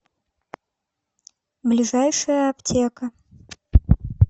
ближайшая аптека